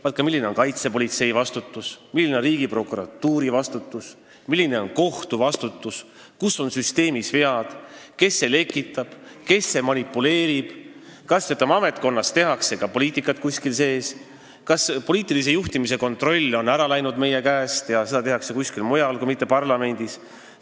Tal on õigus rääkida ka sellest, milline on kaitsepolitsei, Riigiprokuratuuri ja kohtu vastutus, kus on süsteemis vead, kes lekitab ja manipuleerib, kas kuskil ametkonna sees tehakse ka poliitikat, kas kontroll poliitilise juhtimise üle on meie käest ära läinud ja seda tehakse kuskil mujal, mitte parlamendis.